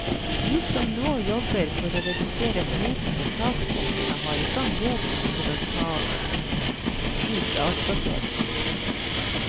De som nå jobber for å redusere høyden på saksbunkene har ikke anledning til å ta ut avspasering.